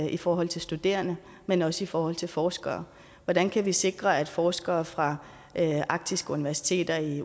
i forhold til studerende men også i forhold til forskere hvordan kan vi sikre at forskere fra arktiske universiteter i